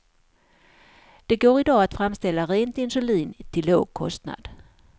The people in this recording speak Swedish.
Det går i dag att framställa rent insulin till låg kostnad.